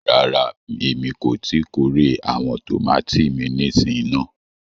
Ràrà, ẹ̀mi kò ti kòrè awọn tomati mi nísìn náà.